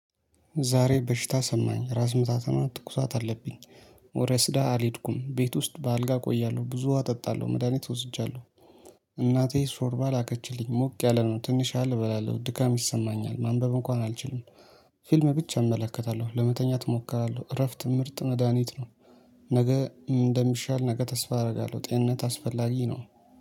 ዛሬ በሽታ ሰማኝ። ራስ ምታትና ትኩሳት አለብኝ። ወረስዳ አልሄድኩም። ቤት ውስጥ በአልጋ እቆያለሁ። ብዙ ዉሃ እጠጣለሁ። መድሃኒት እወስጃለሁ። እናቴ ሾርባ ላከችልኝ። ሞቅ ያለ ነው። ትንሽ ያህል እበላለሁ። ድካም ይሰማኛል። ማንበብ እንኳን አልችልም። ፊልም ብቻ እመለከታለሁ። ለመተኛት እሞክራለሁ። እረፍት ምርጥ መድሃኒት ነው። ነገ እንደሚሻል ነገ ተስፋ አደርጋለሁ። ጤንነት አስፈላጊ ነው።